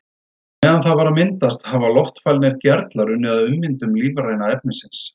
Á meðan það var að myndast hafa loftfælnir gerlar unnið að ummyndun lífræna efnisins.